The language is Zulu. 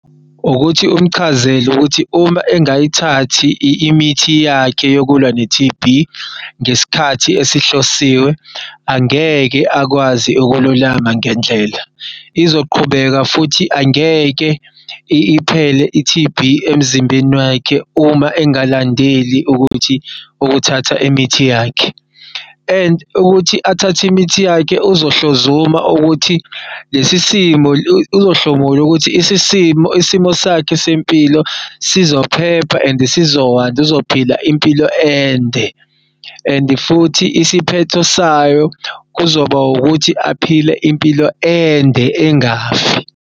Ukuthi umchazele ukuthi uma engayithathi imithi yakhe yokulwa ne-T_B ngesikhathi esihlosiwe, angeke akwazi ukululama ngendlela. Izoqhubeka futhi angeke iphele i-T_B emzimbeni wakhe uma engalandeli ukuthi ukuthatha imithi yakhe, and ukuthi athathe imithi yakhe uzohlozuma uzohlomula ukuthi isimo sakhe sempilo sizophepha and uzophila impilo ende and futhi isiphetho sayo kuzoba ukuthi aphile impilo ende, engafi.